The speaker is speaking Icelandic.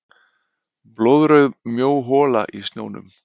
Blóðrauð mjó hola í snjónum.